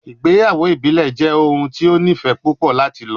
Igbeyawo ibile jẹ ohun ti o nifẹ pupọ lati lọ